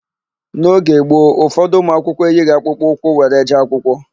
N'oge gboo, ụfọdụ ụmụakwụkwọ eyighị akpụkpọ ụkwụ were jee akwụkwọ.